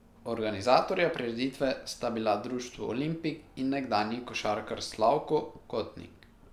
Organizatorja prireditve sta bila društvo Olimpik in nekdanji košarkar Slavko Kotnik.